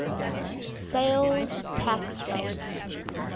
sales tax rate